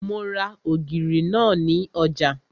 Mo ra ògìrì náà ní ọjà